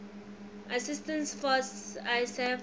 assistance force isaf